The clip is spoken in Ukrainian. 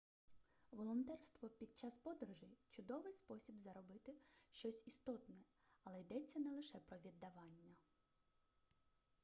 волонтерство під час подорожей чудовий спосіб зробити щось істотне але йдеться не лише про віддавання